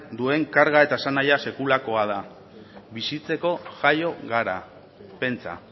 duen karga eta esanahia sekulakoa da bizitzeko jaio gara pentsa